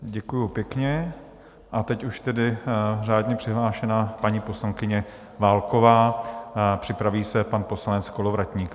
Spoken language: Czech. Děkuji pěkně a teď už tedy řádně přihlášená paní poslankyně Válková, připraví se pan poslanec Kolovratník.